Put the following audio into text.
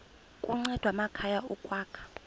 kunceda amakhaya ukwakha